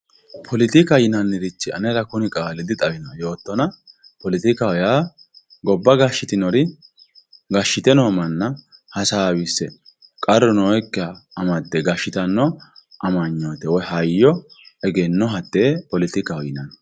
politikaho yinnannirich anera kuni qaali dixawioo'e yootona poletikaho yaa goba gashitinori gashshite noo manna hasaawisse qarru nooekiha amadde gashshitanno amanyoote woy hayyo egenno hatee poletikaho yinanni.